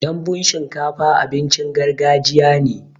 Danbun shinkafa abincin gargajiya ne.